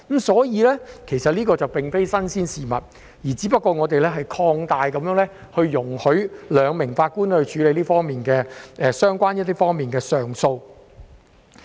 所以，這並非新鮮事物，只是我們擴大使用有關安排，容許由兩名法官處理相關方面的上訴。